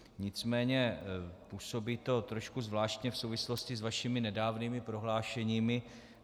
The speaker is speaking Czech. Nicméně působí to trošku zvláštně v souvislosti s vašimi nedávnými prohlášeními.